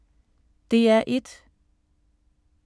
DR1